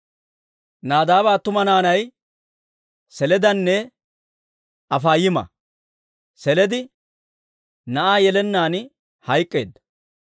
Nadaaba attuma naanay Seledanne Afaayima; Seledi na'aa yelennaan hayk'k'eedda.